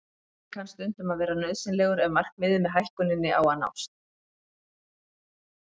Hraði kann stundum að vera nauðsynlegur ef markmiðið með hækkuninni á að nást.